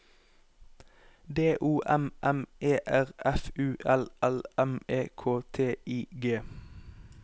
D O M M E R F U L L M E K T I G